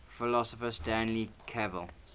philosopher stanley cavell